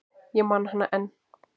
Ég man hana enn.